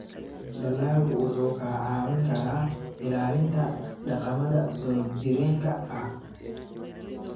Dalaggu wuxuu kaa caawin karaa ilaalinta dhaqamada soo jireenka ah.